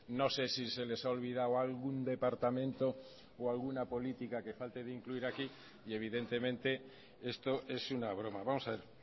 no sé si se les ha olvidado algún departamento o alguna política que falte de incluir aquí y evidentemente esto es una broma vamos a ver